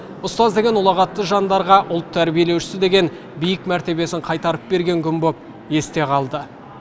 ұстаз деген ұлағатты жандардарға ұлт тәрбиелеушісі деген биік мәртебесін қайтарып берген күн болып есте қалды